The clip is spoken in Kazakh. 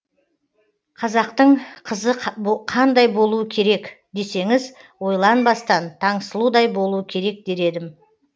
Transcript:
қазақтың қызы қандай болуы керек десеңіз ойланбастан таңсұлудай болуы керек дер едім